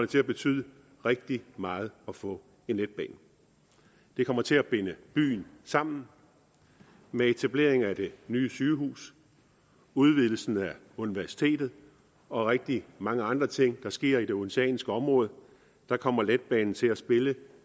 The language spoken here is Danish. til at betyde rigtig meget at få en letbane det kommer til at binde byen sammen med etablering af det nye sygehus udvidelsen af universitetet og rigtig mange andre ting der sker i det odenseanske område kommer letbanen til at spille